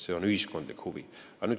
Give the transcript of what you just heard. See on ühiskondlik huvi.